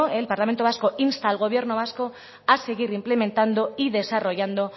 el parlamento vasco insta al gobierno vasco a seguir implementando y desarrollando